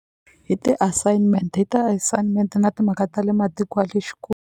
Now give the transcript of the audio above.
Hi ti-assignment hi ti-assignment na timhaka ta le matiko ya le